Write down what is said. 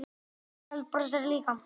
Arnaldur brosir líka.